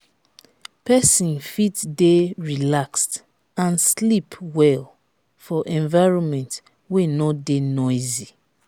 persin fit de relaxed and sleep well for environment wey no de noisy